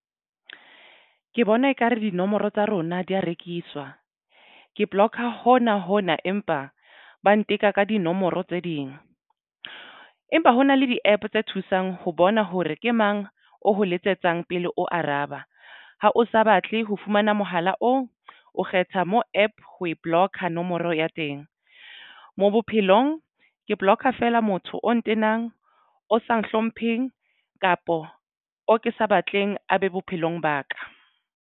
Ke bona ekare dinomoro tsa rona di ya rekiswa ke block-a hona hona empa ba nteka ka dinomoro tse ding. Empa hona le di-APP tse thusang ho bona hore ke mang o ho letsetsang pele o araba. Ha o sa batle ho fumana mohala oo o kgetha mo APP ho e block-a nomoro ya teng mo bophelong ke block- fela motho o ntenang o sa hlompheng kapo o ke sa batleng a be bophelong ba ka.